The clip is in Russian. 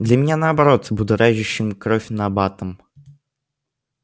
для меня наоборот будоражащим кровь набатом